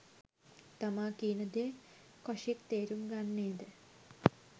තමා කියනදේ කොෂික් තේරුම් ගන්නේ ද